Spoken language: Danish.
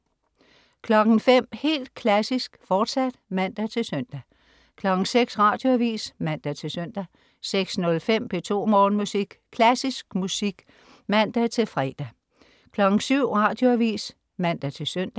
05.00 Helt Klassisk, fortsat (man-søn) 06.00 Radioavis (man-søn) 06.05 P2 Morgenmusik. Klassisk musik med (man-fre) 07.00 Radioavis (man-søn)